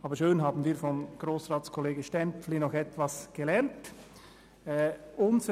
Aber es ist schön, dass wir von Kollege Stampfli noch etwas gelernt haben.